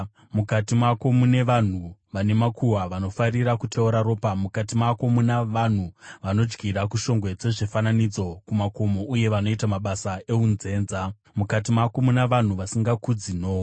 Mukati mako muna vanhu vasingakudzi nhoo dzamadzibaba avo, mukati mako muna vanhu vanochinya vakadzi panguva yavanenge vari kumwedzi, pavanenge vasina kuchena.